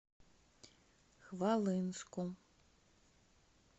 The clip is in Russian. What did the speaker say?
хвалынску